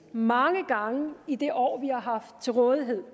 mange gange i det år vi har haft til rådighed